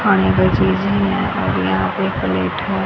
खाने का चीज यहीं है और यहां पे एक प्लेट है।